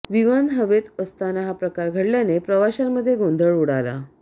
विमान हवेत असताना हा प्रकार घडल्याने प्रवाशांमध्ये गोंधळ उडाला